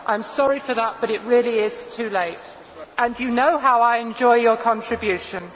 I am sorry for that, but it really is too late and you know how I enjoy your contributions!